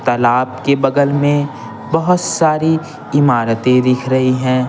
तालाब के बगल में बहुत सारी इमारतें दिख रही हैं।